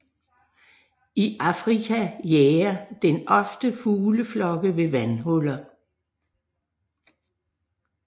I Afrika jager den ofte fugleflokke ved vandhuller